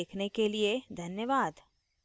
हमारे साथ जुड़ने के लिए धन्यवाद